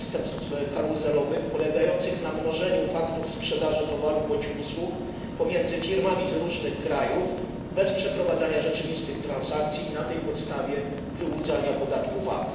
przestępstw karuzelowych, polegających na mnożeniu faktur sprzedaży towarów bądź usług pomiędzy firmami z różnych krajów bez przeprowadzania rzeczywistych transakcji i na tej podstawie wyłudzania podatku VAT.